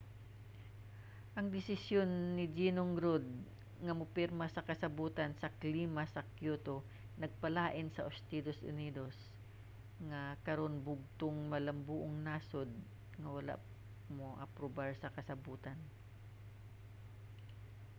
ang desisyon ni ginong rudd nga mopirma sa kasabotan sa klima sa kyoto nagpalain sa estados unidos nga karon bugtong malambuong nasod nga wala miaprubar sa kasabotan